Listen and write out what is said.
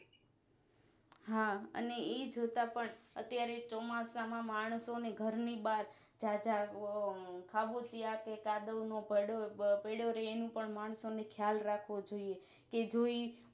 હા અને ઈ જોતા પણ અત્યારે ચોમાસા માં માણસોને ઘર ની બાર જા જા ગોમ હ્બુતી આપે કાદવનોઘડો જ પડ્યો રેએનું પણ માણસોને ખ્યાલ રાખવું જોઈએ કે જોઈ